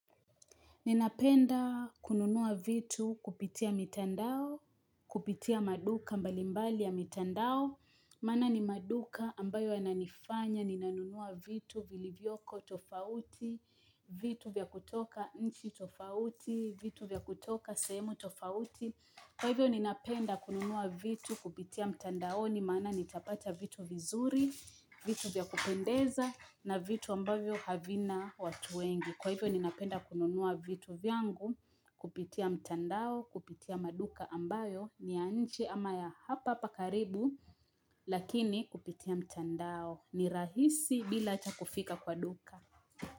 Ninapenda kununua vitu kupitia mitandao, kupitia maduka mbalimbali ya mitandao, maana ni maduka ambayo yananifanya, ninanunua vitu vilivyoko tofauti, Ninapenda kununua vitu kupitia mitandao, kupitia maduka mbalimbali ya mitandao, maana ni maduka ambayo yananifanya, ninanunua vitu vilivyoko tofauti, vitu vya kutoka nchi tofauti, vitu vya kutoka sehemu tofauti. Vitu vya kupendeza na vitu ambayo havina watu wengi. Kwa hivyo ninapenda kununua vitu vyangu, kupitia mtandao, kupitia maduka ambayo, ni ya nje ama ya hapa hapa karibu, lakini kupitia mtandao, ni rahisi bila hata kufika kwa duka.